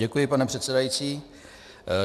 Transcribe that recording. Děkuji, pane předsedající.